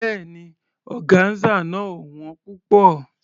Béèni, ọgáńsà náà ò wón púpọ̀.